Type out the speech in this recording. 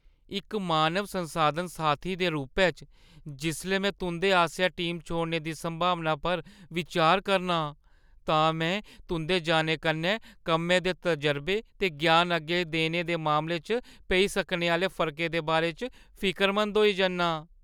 इक मानव संसाधन साथी दे रूपै च, जिसलै में तुंʼदे आसेआ टीम छोड़ने दी संभावना पर बिचार करना आं, तां में तुंʼदे जाने कन्नै कम्मै दे तजरबे ते ज्ञान अग्गें देने दे मामले च पेई सकने आह्‌ले फर्कै दे बारे च फिकरमंद होई जन्नां।